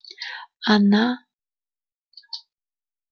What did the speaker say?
она